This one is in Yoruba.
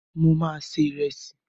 Mo ma se Ìrẹ́sì.